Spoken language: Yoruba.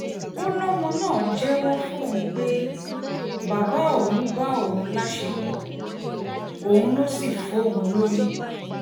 ó lọ́mọ náà jẹ́wọ́ fóun pé bàbá òun ló bá òun láṣepọ̀ òun ló sì fóun lóyún